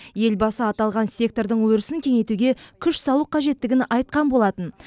елбасы аталған сектордың өрісін кеңейтуге күш салу қажеттігін айтқан болатын